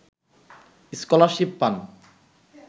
scholarship পান